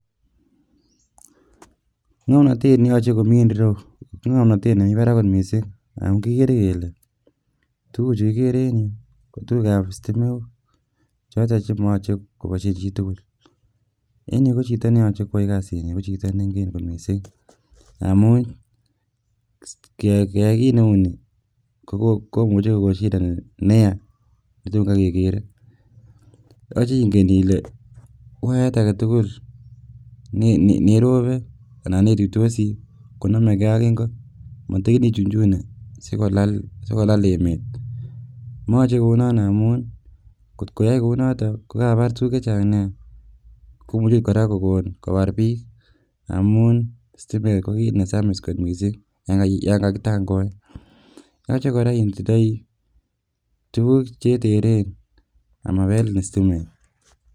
Ng'omnotet neyoche komii en ireu ko ng'omnotet nemii barak kot mising amun kikere kelee tukuchu kikere en yuu kotukukab sitimok choton chemoyoche koboishen chitukul en yuu ko chito neyoche koyai kasini ko chito neng'en kot mising amun keyai kiit neuni komuche kokoo shida neyaa netom kaii kekere yoche ing'en ilee wayat aketukul nirobe anan netuitosi konomekee ak ing'o, motikin ichuchunie sikolal, sikolal emet , moyoche kounon amun kot koyai kouniton ko Kabar tukuk chechang nea komuche oot kora kokonu kobar biik amun sitimet ko kiit nesamis kot mising yoon kakitang'oen, yoche kora itindoi tukuk cheteren amabelin sitimet.